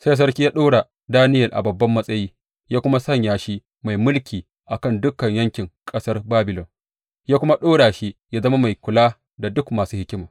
Sai sarki ya ɗora Daniyel a babban matsayi ya kuma sanya shi mai mulki a kan dukan yankin ƙasar Babilon; ya kuma ɗora shi yă zama mai kula da duk masu hikima.